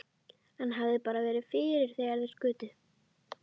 Hann hefði bara verið fyrir þegar þeir skutu.